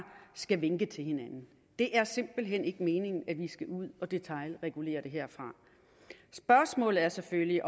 skal vinke til hinanden det er simpelt hen ikke meningen at vi skal ud og detailregulere det herfra spørgsmålet er selvfølgelig